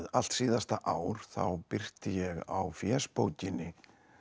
allt síðasta ár þá birti ég á fésbókinni